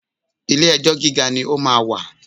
Ilé ẹjọ́ gíga ni ó máa wà